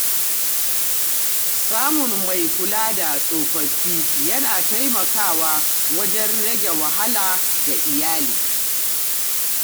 Samun mai kula da tsofaffi yana taimakawa wajen rage wahala ga iyali.